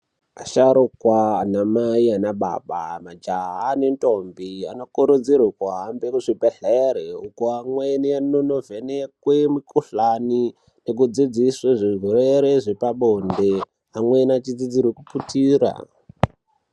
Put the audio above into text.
Asharukwa anamai, anababa. majaha nendombi anokurudzire kuhambe kuzvibhedhlere uku mweni nekunovhenekwe mukuhlani nekudzidziswe zvirwere zvepabonde, amweni achidzidzirwa kuputira.